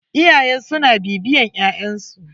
Iyaye suna bibiyan ƴaƴn su.